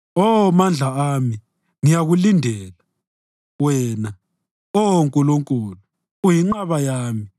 Oh Mandla ami, ngiyakulindela; wena, Oh Nkulunkulu, uyinqaba yami,